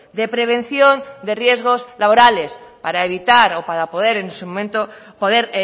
de prevención de riesgos laborales para evitar o para poder en su momento poder